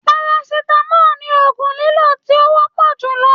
Parasitamọ ní ogún lilo to wọpọ julọ.